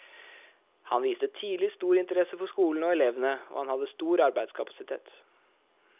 Han viste tidlig stor interesse for skolen og elevene, og han hadde stor arbeidskapasitet.